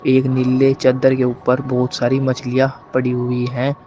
एक नीले चद्दर के ऊपर बहुत सारी मछलियां पड़ी हुई है।